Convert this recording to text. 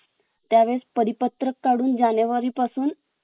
त्यावेळेस परिपत्रक काढून जानेवारी पासून